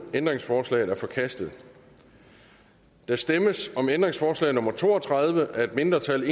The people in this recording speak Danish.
ændringsforslaget er forkastet der stemmes om ændringsforslag nummer to og tredive af et mindretal